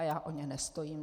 A já o ně nestojím.